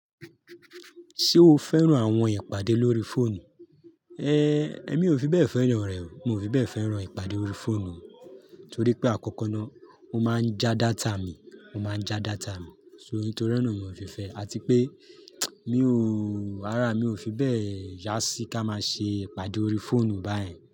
Ṣé o fẹ́ràn àwọn ìpàdé lórí fóònù? É, èmi ò fi bẹ́ẹ̀ fẹ́ràn rẹ̀ o. Mo fi bẹ́ẹ̀ fẹ́ràn ìpàdé órí fóònù. Torí pé àkọ́kọ́ ná, ó máa ń ja data mi, ó máa ń ja data mi. So ní torí náà mi ò si fẹ́ ẹ. Àti pé mi ò, árá mi ò fi bẹ́ẹ̀ yá sí ká máa ṣe ìpàdé órí fóònù báyìí.